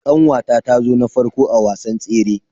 Kanwata ta zo na farko a wasan tsere.